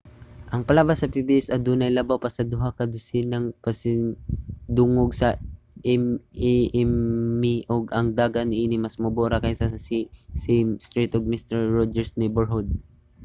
ang palabas sa pbs adunay labaw pa sa duha ka dosenag mga pasidungog sa emmy ug ang dagan niini mas mubo ra kaysa sa sesame street ug mister roger's neighborhood